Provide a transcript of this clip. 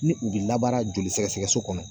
Ni u bɛ labaara joli sɛgɛsɛgɛso kɔnɔ.